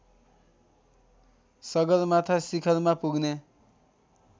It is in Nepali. सगरमाथा शिखरमा पुग्ने